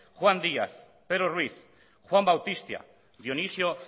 juan díaz pedro ruiz juan bautista dionisio